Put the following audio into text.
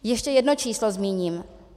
Ještě jedno číslo zmíním.